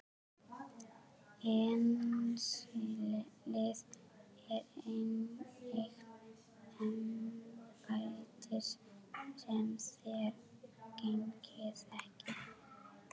LÁRUS: Innsiglið er eign embættis sem þér gegnið ekki.